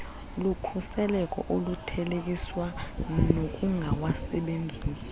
lukhuseleko oluthelekiswa nokungawasebenzisi